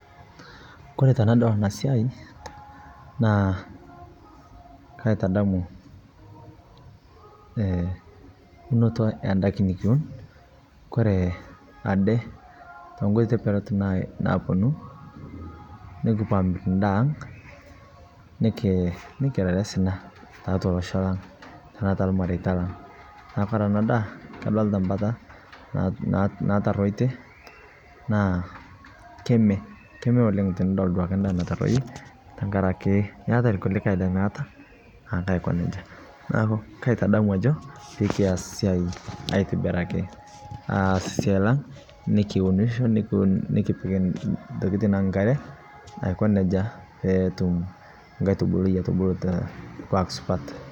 Kore tanadol ana naa kaitadamu ee unotoo e ndakin nikiuun. Kore edee to nkoitoi tipaat naponuu nikipaang' ndaa ang' nikirare sinaa te atua losho laang' tana taa ilmaretaa laang'. Naa kore ena ndaa kadolita mbaata naitorotie naa keeme, keeme oleng tinidol duake ndaa naitororie tang'araki keetai nkulikai lemeeta ake aikoo nejaa. Neeku kaitadamu ajoo pii kiaas siai aitibiraki aas siai laang nikiunisho nikiip ntokitin e nkaare aikoo nejaa pee etuum nkatubuluui aitubuluu te ilkwaak supaat.